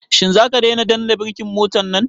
Shin zaka daina danna birkin motan nan?